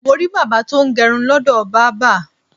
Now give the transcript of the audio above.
Mo rí bàbá tó ń gẹrun lọ́dọ̀ bábà.